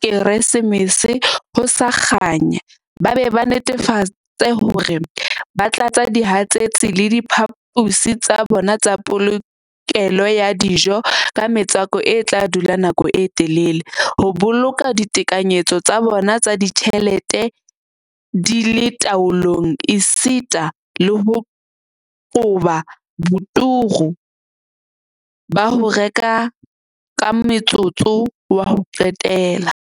Keresemese ho sa kganya ba be ba netefatse hore ba tlatsa dihatsetsi le diphaposi tsa bona tsa polokelo ya dijo ka metswako e tla dula nako e telele, ho boloka ditekanyetso tsa bona tsa ditjhelete di le taolong esita le ho qoba boturu ba ho reka ka motsotso wa ho qetela.